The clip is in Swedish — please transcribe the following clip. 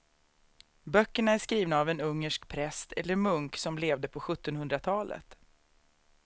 Böckerna är skrivna av en ungersk präst eller munk som levde på sjuttonhundratalet.